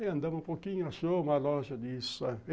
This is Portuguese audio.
Aí andamos um pouquinho, achou uma loja de isso aí.